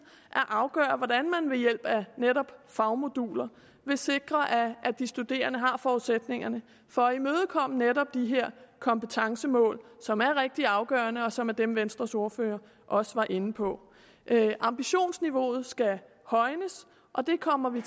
at afgøre hvordan man ved hjælp af netop fagmoduler vil sikre at de studerende har forudsætningerne for at imødekomme netop de her kompetencemål som er rigtig afgørende og som er dem venstres ordfører også var inde på ambitionsniveauet skal højnes og det kommer vi